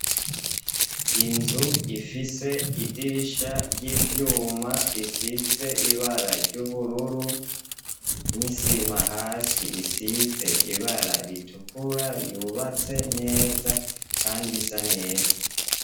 Inzu ifise idirisha ry'ivyuma bisize ibara ry'ubururu, n'isima hasi isize ibara ritukura yubatse neza kand'isa neza.